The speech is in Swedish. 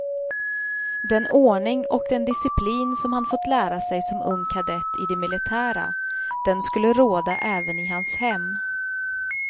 Den ordning och den disciplin som han fått lära sig som ung kadett i det militära, den skulle råda även i hans hem.